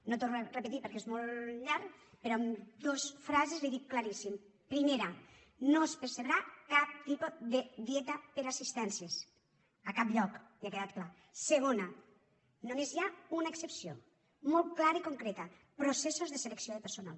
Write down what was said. no ho torno a repetir perquè és molt llarg però amb dos frases li ho dic claríssimament primera no es percebrà cap tipus de dieta per assistències a cap lloc ja ha quedat clar segona només hi ha una excepció molt clara i concreta processos de selecció de personal